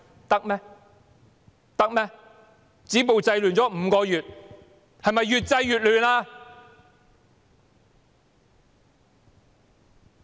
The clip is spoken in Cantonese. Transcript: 政府試圖止暴制亂已5個月，但卻越制越亂。